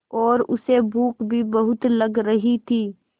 और उसे भूख भी बहुत लग रही थी